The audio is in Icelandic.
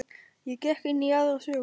Ég gekk inn í aðra sögu.